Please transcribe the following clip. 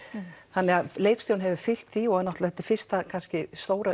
þannig að leikstjórinn hefur fylgt því og þetta er náttúrulega fyrsta stóra